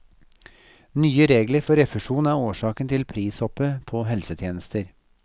Nye regler for refusjon er årsaken til prishoppet på helsetjenester.